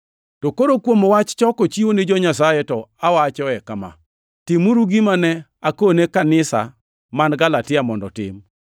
To koro kuom wach choko chiwo ni jo-Nyasaye; to awachoe kama: Timuru gima ne akone kanisa man Galatia mondo otim.